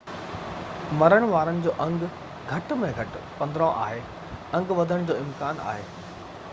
مرڻ وارن جو انگ گهٽ ۾ گهٽ 15 آهي انگ وڌڻ جو امڪان آهي